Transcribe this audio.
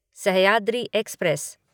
Sahyadri express